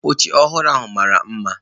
Oche ọhụrụ ahụ mara mma